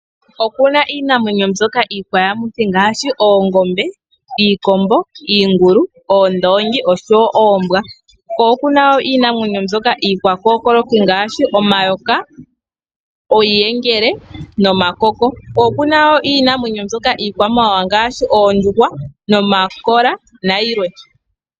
Ope na iinamwenyo ndyono ngaashi oongombe, iikombo, iingulu, oondongi oshowo oombwa. Ope na wo iinamwenyo ndyoka iikwa kookoloki ngaashi omayoka, iiyengele nomakoko. Ope na wo iinamwenyo yimwe iikwamawawa ngaashi oondjuhwa, nomakola nayilwe.